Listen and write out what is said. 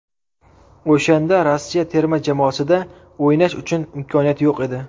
O‘shanda Rossiya terma jamoasida o‘ynash uchun imkoniyat yo‘q edi.